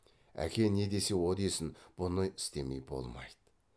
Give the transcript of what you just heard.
әке не десе о десін бұны істемей болмайды